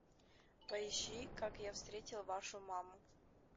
поищи как я встретил вашу маму